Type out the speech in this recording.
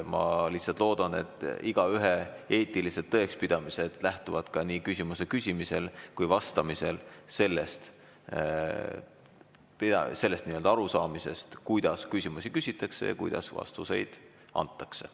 Ma lihtsalt loodan, et igaühe eetilised tõekspidamised lähtuvad nii küsimuse küsimisel kui ka vastamisel sellest arusaamisest, kuidas küsimusi küsitakse ja kuidas vastuseid antakse.